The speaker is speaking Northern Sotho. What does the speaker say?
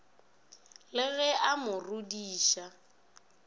le ge a mo rodiša